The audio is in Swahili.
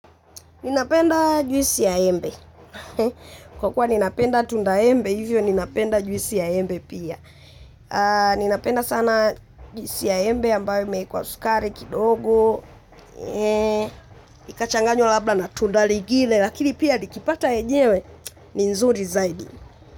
Ninapenda juisi ya embe. Kwa kuwa ninapenda tunda embe hivyo ninapenda juisi ya embe pia. Ninapenda sana juisi ya embe ambayo imekwa sukari kidogo. Likachanganywa labda na tunda lengine lakini pia nikipata lenyewe ni vizuri zaidi.